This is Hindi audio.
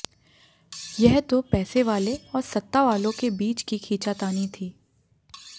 यह तो पैसेवाले और सत्तावालों के बीच की खींचातानी थी